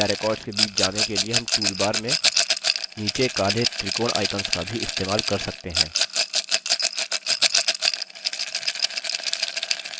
या records के बीच जाने के लिए हम toolbar में नीचे काले त्रिकोण आइकंस का भी इस्तेमाल कर सकते हैं